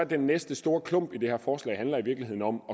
den næste store klump i det her forslag i virkeligheden om